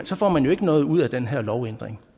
så får man jo ikke noget ud af den her lovændring